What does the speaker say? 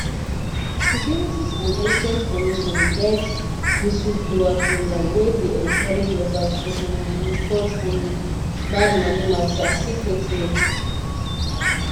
securities and exchange commission get whistleblower program wey dey encourage workers to um report um bad money matter secretly